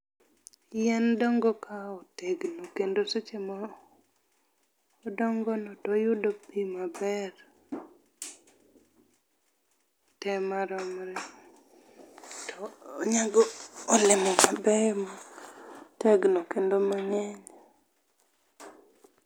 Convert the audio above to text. Yien dongo ka otegno kendo seche ma odongo no toyudo pii maber, tee maromre to onyago olemo maber ma otegno kendo mangeny